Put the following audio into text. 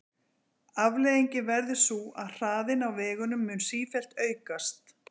Afleiðingin verður sú að hraðinn á vegunum mun sífellt aukast.